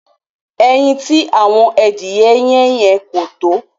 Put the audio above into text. Ẹyin tí ạ̀wọn adìẹ yẹn yé kò tó.